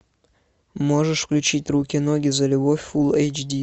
можешь включить руки ноги за любовь фулл эйч ди